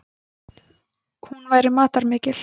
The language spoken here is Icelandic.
Hún væri matarmikil.